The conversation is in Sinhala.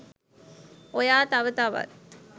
ඔයා තව තවත්